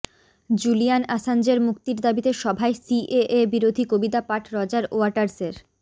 Julian আসাঞ্জের মুক্তির দাবিতে সভায় সিএএ বিরোধী কবিতা পাঠ রজার ওয়াটার্সের